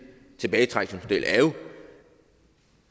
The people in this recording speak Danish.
tilbagetrækningsmodel er